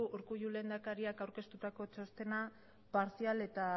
urkullu lehendakariak aurkeztutako txostena partzial eta